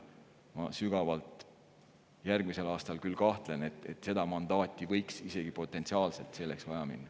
Ma küll sügavalt kahtlen, et järgmisel aastal võiks seda mandaati – isegi potentsiaalselt – vaja minna.